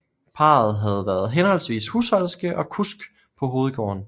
Parret havde været henholdsvis husholderske og kusk på hovedgården